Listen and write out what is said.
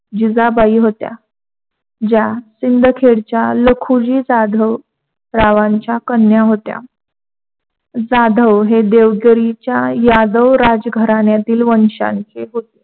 जिजाबाई होत्या ज्या सिंदखेडच्या लखुजी जाधव रावांच्या कन्या होत्या. जाधव हे देवझरीच्या यादव राजघराण्यातील वंशांचे होते.